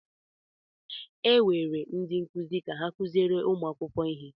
E were ndị nkụzi ka ha kụziere ụmụ akwụkwọ ihe.